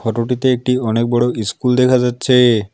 ফটোটিতে একটি অনেক বড় ইস্কুল দেখা যাচ্ছে।